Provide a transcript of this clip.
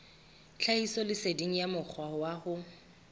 tlhahisoleseding ya mokgwa wa ho